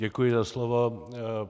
Děkuji za slovo.